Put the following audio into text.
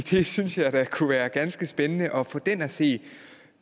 synes da det kunne være ganske spændende at få den at se